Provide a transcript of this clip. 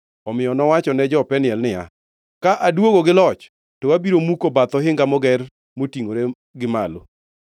Omiyo nowachone jo-Peniel niya, “Ka aduogo gi loch, to abiro muko bath ohinga moger motingʼore gi malo.”